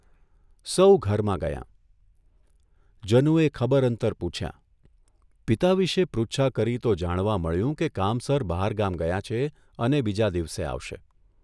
સહુ ઘરમાં ગયાં, જનુએ ખબર અંતર પૂછયા, પિતા વિશે પૃચ્છા કરી તો જાણવા મળ્યું કે કામસર બહારગામ ગયા છે અને બીજા દિવસે આવશે.